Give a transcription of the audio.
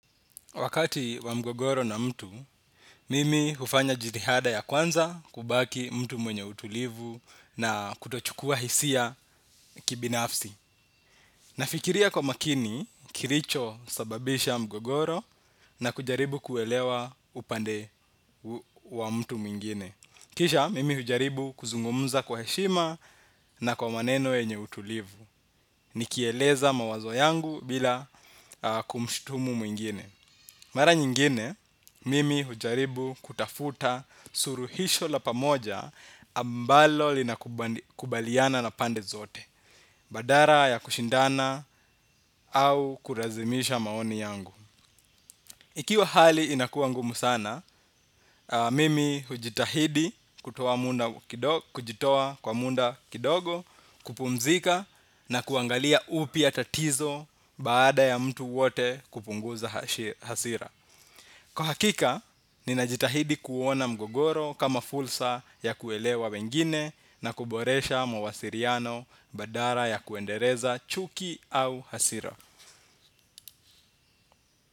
Wakati wa mgogoro na mtu, mimi hufanya jitihada ya kwanza kubaki mtu mwenye utulivu na kutochukua hisia kibinafsi. Nafikiria kwa makini kilicho sababisha mgogoro na kujaribu kuelewa upande wa mtu mwingine. Kisha, mimi hujaribu kuzungumza kwa heshima na kwa maneno yenye utulivu. Nikieleza mawazo yangu bila kumshutumu mwingine. Mara nyingine, mimi hujaribu kutafuta suluhisho la pamoja ambalo linakubaliana na pande zote, badala ya kushindana au kulazimisha maoni yangu. Ikiwa hali inakuwa ngumu sana, mimi hujitahidi kujitowa kwa muda kidogo kupumzika na kuangalia upya tatizo baada ya mtu wote kupunguza hasira. Kwa hakika, ninajitahidi kuona mgogoro kama fursa ya kuelewa wengine na kuboresha mawasiliano badala ya kuendeleza chuki au hasira.